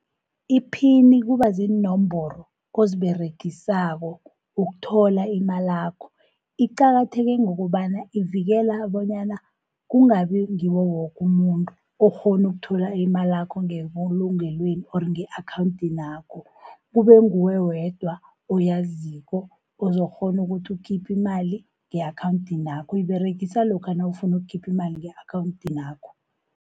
Iphini kuba ziinomboro oziberegisako ukuthola imalakho. Iqakatheke ngokobana ivikela bonyana kungabi ngiwo wokumuntu okghona ukuthola imalakho ngebulungelweni or nge-akhawunthinakho. Kube nguwe wedwa oyaziko ozokukghona ukuthi ukhiphe imali nge-akhawunthinakho, uyiberegisa lokha nawufuna ukhiphi imali nge-akhawunthinakho.